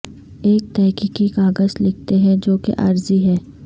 ایک تحقیقی کاغذ لکھتے ہیں جو کہ عارضی ہے